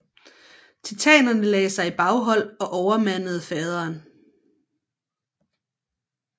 Titanerne lagde sig i baghold og overmandede faderen